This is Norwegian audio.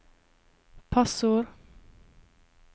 passord